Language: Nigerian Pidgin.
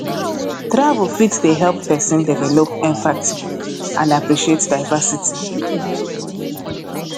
travel fit dey help pesin develop empathy and appreciate diversity